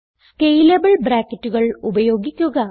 scalable ബ്രാക്കറ്റുകൾ ഉപയോഗിക്കുക